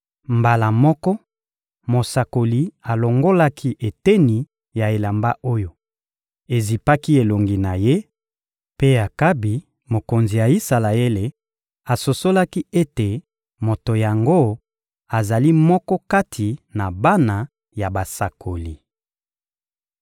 Mbala moko, mosakoli alongolaki eteni ya elamba oyo ezipaki elongi na ye; mpe Akabi, mokonzi ya Isalaele, asosolaki ete moto yango azali moko kati na bana ya basakoli.